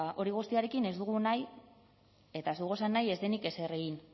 hori guztiarekin ez dugu nahi eta ez dugu esan nahi ez denik ezer egin